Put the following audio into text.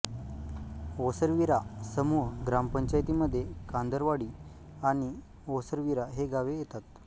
ओसरविरा समूह ग्रामपंचायतीमध्ये कांदरवाडी आणि ओसरविरा ही गावे येतात